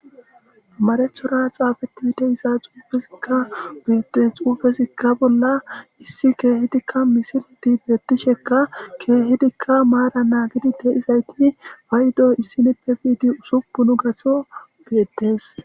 Mareththora xaafettida diza xuffezzi betees.xuufezakka bolla issi kehidikka missilet betishshekka kehidikka mara naagidi de'izayitti payiddo issinnippe bidi ussupunnu gaththo betees.